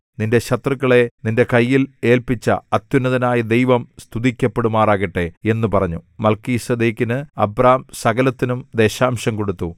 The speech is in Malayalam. നിന്റെ ശത്രുക്കളെ നിന്റെ കയ്യിൽ ഏല്പിച്ച അത്യുന്നതനായ ദൈവം സ്തുതിക്കപ്പെടുമാറാകട്ടെ എന്നു പറഞ്ഞു മൽക്കീസേദെക്കിന് അബ്രാം സകലത്തിലും ദശാംശം കൊടുത്തു